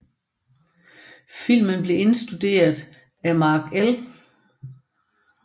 Filmen blev instrueret af Mark L